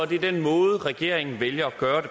den måde regeringen vælger at gøre